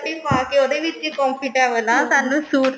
pent shirt ਪਾਕੇ ਉਹਦੇ ਵਿੱਚ ਹੀ comfortable ਹੈ ਸਾਨੂੰ suit ਚ